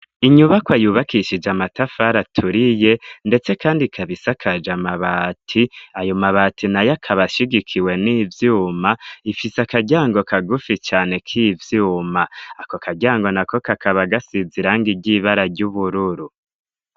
Inyubako ayubakishije amatafari aturiye, ndetse, kandi kabisakaja amabati ayo mabati na yo akabashigikiwe n'ivyuma ifise akaryango kagufi cane k'ivyuma ako akaryango na ko kakaba agasiza iranga iryibara ry'ubururu.